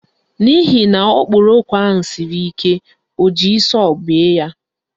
N'ihi na okporoko ahụ siri ike, o ji sọọ wee bee ya.